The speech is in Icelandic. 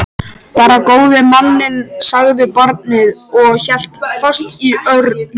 Bara góði manninn, sagði barnið og hélt fast í Örn.